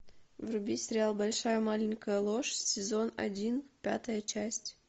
вруби сериал большая маленькая ложь сезон один пятая часть